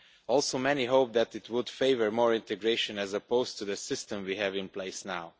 Also, many hope that it would favour more integration as opposed to the system we have in place now.